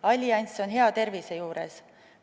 Allianss on hea tervise juures.